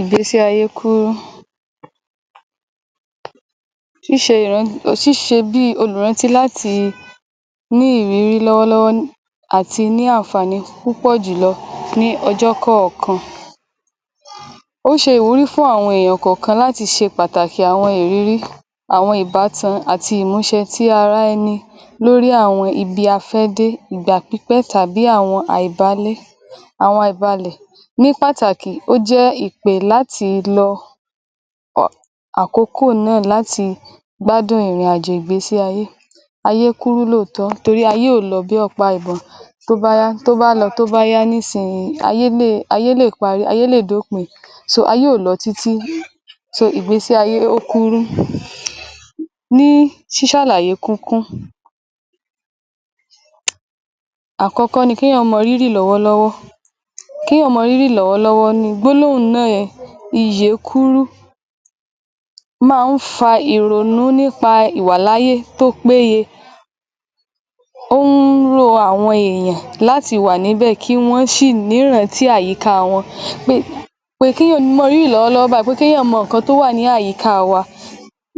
Ìgbẹ́sí ayé kúrú, ṣíṣe, ṣíṣe bí i olùrántí ní ìrírí lọ́wọ́lọ́wọ́ àti ní ànfààní púpọ̀ jù lọ ní ọjọ́ kọ̀ọ̀kan. Ó ṣe ìwúrí fún àwọn èyàn kọ̀kan láti ṣe pàtàkì àwọn ìrírí àwọn ìbátan àti ìmúṣẹ ti ara ẹni lórí àwọn ibi a fẹ́ dé. Ìgbà pípẹ́ tàbí àwọn à ì bálé, àwọn à ì balẹ̀ ní pàtàkì ó jẹ́ ìpè láti lọ ọ̀ àkókò náà láti gbádùn ìrìn àjò ìgbésíayé, ayé kúrú lóòótọ́, torí ayé kò lọ bí ọ̀pá ìbọn tó bá lọ tó bá yá nísìn yìí ayé lè, ayé lè parẹ́, ayé lè dó pin so ayé ò lọ títí so ìgbésí ayé ó kúrú ní sísàlàye ní kúnkún. Àkọ́kọ́ ni ké yàn mọ rírì lọ́wọ́lọ́wọ́, ké yàn mọ rírì lọ́wọ́lọ́wọ́ ni gbólóhùn ná a iyè kúrú ma ń fa ìrònú ní pa ìwàláyé tó péye, ohun ro àwọn èyàn láti wà níbẹ̀ kí wọ́n sì ní rán tí àyíká wọn, pé pé ké yàn mọ rírì lọ́wọ́lọ́wọ́ báyìí, pé ké yàn mọ ǹkan tó wà ní àyíká wa,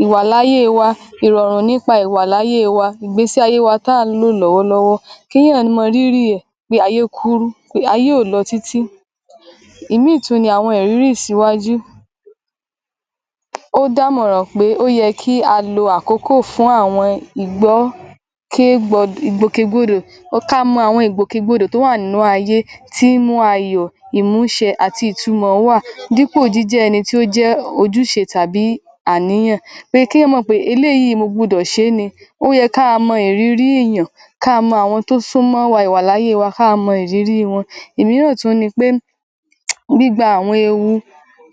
ìwàlálé wa ìrọ̀rùn ní pa ìwàláyé wa, ìgbẹ́sí ayé wa tá ǹ lò lọ́wọ́lọ́wọ́ ké yàn mọ rírì ẹ̀ pé ayé kúrú, pé ayé ò lọ títí. Ìmí ì tún ni àwọn ìrírí ìsíwájú ó dàmọ̀ràn pé ó yẹ kí a lo àkókò fún àwọn ì gbọ́, ké gbọ́ dò, ìgbòkègbodò. Ka mọ àwọn ìgbòkègbodò tó wà nínú ayé tí í mú ayọ̀, ìmúṣẹ àti ìtumọ̀ wà, dí pò jí jẹ́ ẹni tó jẹ́ ojúse tàbí àníyàn, pé ké yàn mò pẹ́ eléyìí mo gbogbo ṣe ni, ó yẹ ká a mọ ìrírí èyàn ka mọ àwọn tó súnmọ́ wa, ìwàláyé wa ka mọ ìrírí wọn. Ìmíràn tún ni pé gbíba àwọn ewu,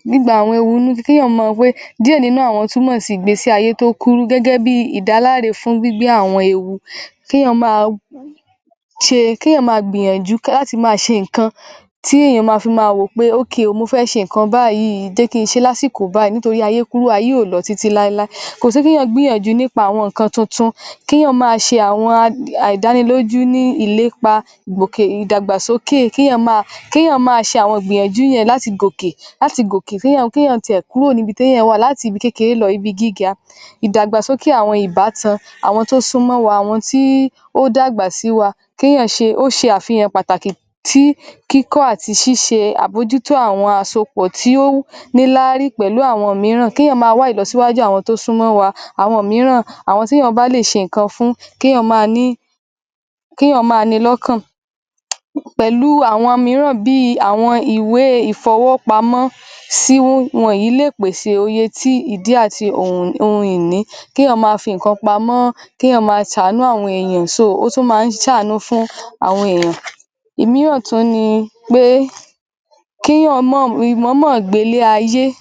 gbígba àwọn ewu ní bi ké yàn mọ gbé díẹ̀ nínú àwọn ìgbésíayé tó kúrú gẹ́gẹ́ bí ìdáláre fún gbígbé àwọn ewu, ké yàn má a ṣe, ké yàn ma gbìyànjú láti máa ṣe tí èyàn fi ma wò ó pé okay o mọ fẹ́ ṣe ǹkan báyìí, jẹ́ kí sé lásìkò báyìí, nítorí ayé kúrú ayé ò lọ títí láíláí. Kò sí ké yàn gbìyànju ní pa àwọn ǹkan tuntun ké yàn mà a ṣe àwọn à ì dánilójú ni ìlépa gòkè, ìdàgbàsókè ké yàn má a ṣe àwọn ìgbìyànjú yẹn láti gòkè, láti gòkè ké yàn ké yàn ti ẹ̀ kúrò níbití èyàn wà latí ibi kékeré lọ ibi gíga, ìdàgbàsókè àwọn ìbátan àwọn tó súnmọ́ wa, àwọn tí ó dàgbà sí wa ké yàn ṣe ó se àfihàn pàkàtì tí kíkọ́ àti síse àmójútó àwọn àsopọ̀ tí ó ní lárí pẹ̀lú àwọn míràn ké yàn má a wá ìlọsíwájú àwọn tó súnmọ́ wa, àwọn míràn àwọn té yàn bá lè ṣe ǹkan fún ké yàn ma ní, ké yàn ma ni lọ́kàn pẹ̀lú àwọn míràn bíi àwọn ìwé ì ìfowópamọ́ sí wọn ní lè pèsè iye tí ìdí àti ohun ìní ké yàn má a fi ǹkan pamọ́, ké yàn mà a sàánú àwọn èyàn so ó tún ma ń sàánú àwọn èyàn. Ìmíràn tún ni pé kí yàn mọ̀, mọ̀ ọ́ mọ̀ gbé ilé ayé ní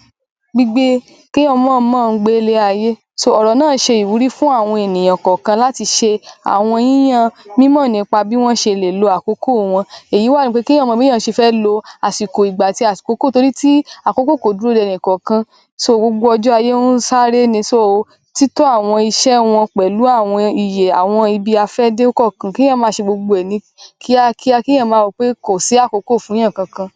gbígbé, ké yàn mọ ọ́ mọ̀ gbé ilé ayé so ọ̀rọ̀ náà ṣe ìwúrí fún àwọn ènìyàn kọ́kan láti ṣe àwọn yí yan mí mọ̀ ní pa bí wọ́n ṣe lè lo àkókò wọn èyí wá ni pé ké yàn mọ bé yàn se fẹ́ lo àsìkò ìgbà àti àsìkò àkókò nítorí àkókò kò dúró de ẹni kọ̀kan so gbogbo ọjọ́ ayé ó ń sáré ni so títọ́ àwọn iṣẹ́ wọn pẹ̀lú àwọn iyè ibi a fẹ́ dé kọ̀kan, ké yàn ma ṣe gbogbo ẹ̀ ní kíákíá ké yàn ma rò pé kò sí àkókò fún èyàn kankan.